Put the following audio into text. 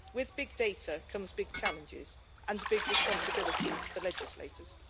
With big data come big challenges and big responsibilities for legislators.